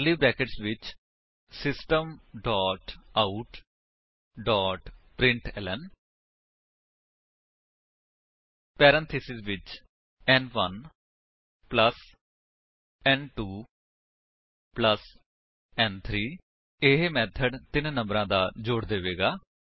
ਕਰਲੀ brackets ਵਿੱਚ system dot out dot println parenthesis ਵਿੱਚ ਨ1 ਪਲੱਸ ਨ2 ਪਲੱਸ ਨ3 ਇਹ ਮੇਥਡ ਤਿੰਨ ਨੰਬਰਾ ਦਾ ਜੋੜ ਦੇਵੇਗਾ